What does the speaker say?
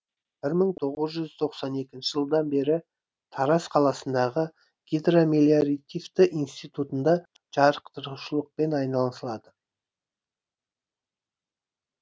бір мың тоғыз жүз тоқсан екінші жылдан бері тараз қаласындағы гидромелиоративті институтында жатықтырушылықпен айналысады